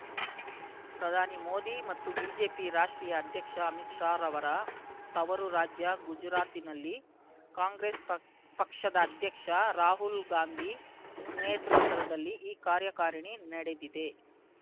ಪ್ರಧಾನಿ ಮೋದಿ ಮತ್ತು ಬಿಜೆಪಿ ರಾಷ್ಟ್ರೀಯ ಅಧ್ಯಕ್ಷ ಅಮಿತ್ ಶಾ ರವರ ತವರು ರಾಜ್ಯ ಗುಜರಾತಿನಲ್ಲಿ ಕಾಂಗ್ರೆಸ್ ಪಕ್ ಪಕ್ಷದ ಅಧ್ಯಕ್ಷ ರಾಹುಲ್‌ಗಾಂಧಿ ನೇತೃತ್ವದಲ್ಲಿ ಈ ಕಾರ್ಯಕಾರಿಣಿ ನಡೆದಿದೆ